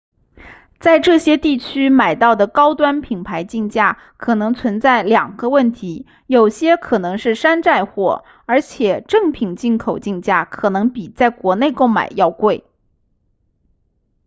在这些地区买到的高端品牌镜架可能存在两个问题有些可能是山寨货而且正品进口镜架可能比在国内购买要贵